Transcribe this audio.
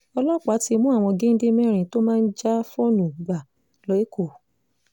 ọlọ́pàá ti mú àwọn géńdé mẹ́rin tó máa ń já fóònù gbà l'eko